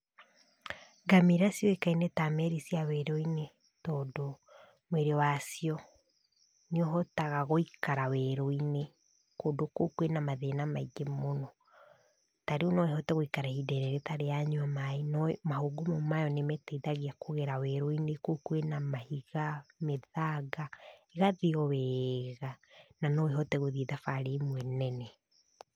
Ngamĩra ciũĩkaine ta merĩ cia werũ-inĩ tondũ mwĩrĩ wacio, nĩ ũhotaga gũikara werũ-inĩ kũndũ kũu kwĩna mathĩna maingĩ mũno. Tarĩu no ĩhote gũikara ihinda inene ĩtarĩ yanyua maĩ, no mahũngũ mayo nĩ mateithagia kũgera werũ-inĩ, kũu kwĩna mahiga, mĩthaiga, ĩgathiĩ o wega, na noĩhote gũthiĩ thabarĩ imwe nene.